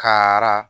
Kara